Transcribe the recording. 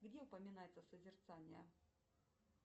где упоминается созерцание